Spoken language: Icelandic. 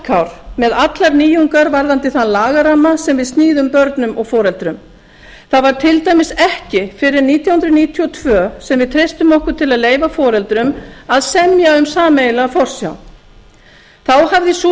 varkár með allar nýjungar varðandi þann lagaramma sem við sníðum börnum og foreldrum það var til dæmis ekki fyrr en nítján hundruð níutíu og tvö sem við treystum okkur til að leyfa foreldrum að semja um sameiginlega forsjá þá hafði sú